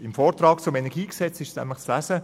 Im Vortrag zum KEnG ist nämlich zu lesen: